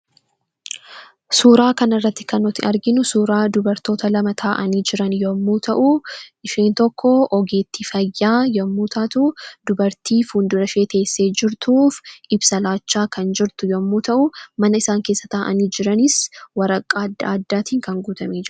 Suuraa kanarratti kan nuti arginu suuraa dubartoota lamaa taa'anii jiran yommuu ta'u, isheen tokko ogeettii fayyaa yommuu taatu dubartii fuuldurashee teessee jirtuuf ibsa laachaa kan jirtu yommuu ta'u, manni isaan keessa taa'anii jiranis waraqaa adda addaatiin kan guutamee jirudha.